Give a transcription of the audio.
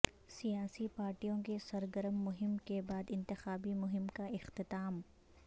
سیاسی پارٹیوں کی سرگرم مہم کے بعد انتخابی مہم کا اختتام